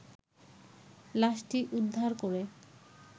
লাশটি উদ্বার করে